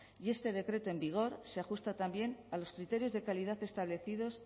y este decreto en vigor se ajusta también a los criterios de calidad establecidos